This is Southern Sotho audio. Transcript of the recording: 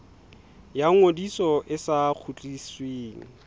ya ngodiso e sa kgutlisweng